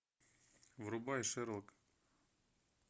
врубай шерлок